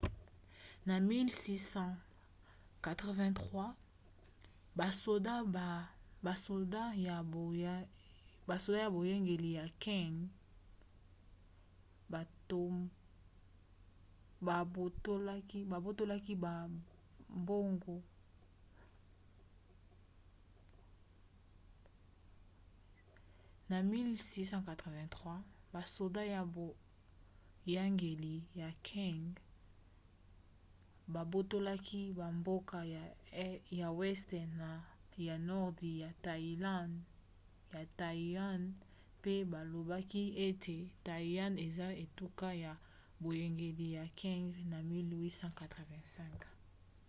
na 1683 basoda ya boyangeli ya qing 1644-1912 babotolaka bamboka ya weste na ya nordi ya taiwan pe balobaki ete taiwan eza etuka ya boyangeli ya qing na 1885